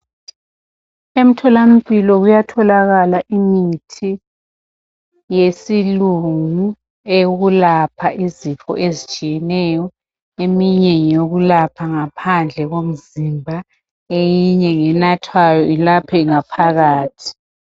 Emtholampilo kuyatholakala imithi yesilungu eyokulapha izifo ezitshiyeneyo eminye ngeyokulapha ngaphandle komzimba eyinye ngenathwayo ilaphe ngaphakathi .